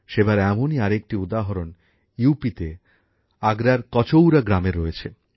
সেবার এমনই আরেকটি উদাহরণ ইউপি তে আগ্রার কচৌরা গ্রামে রয়েছে